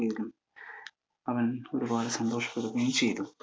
അവൻ ഒരുപാടു സന്തോഷപ്പെടുകയും ചെയ്‌തു.